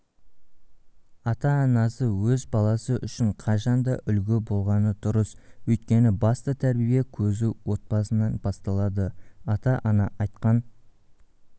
ата-анасы өз баласы үшін қашанда үлгі болғаны дұрыс өйткені басты тәрбие көзі отбасынан басталады ата-ана айтқан